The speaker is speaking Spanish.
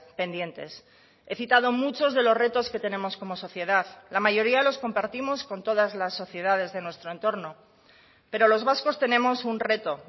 pendientes he citado muchos de los retos que tenemos como sociedad la mayoría los compartimos con todas las sociedades de nuestro entorno pero los vascos tenemos un reto